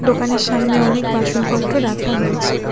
দোকানের সামনে অনেক বাসনপত্র রাখা হয়েছে।